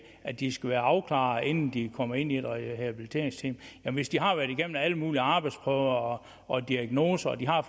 at de skal være afklaret inden de kommer ind i et rehabiliteringsteam hvis de har været igennem alle mulige arbejdsprøver og og diagnoser og de har